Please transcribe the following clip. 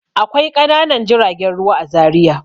Akwai ƙananan jiragen ruwa a Zariya.